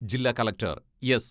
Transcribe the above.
ജില്ലാ collector S.